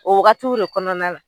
O wagatiw de kɔnɔna la.